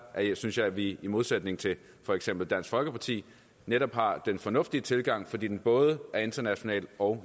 synes jeg at vi i modsætning til for eksempel dansk folkeparti netop har den fornuftige tilgang fordi den både er international og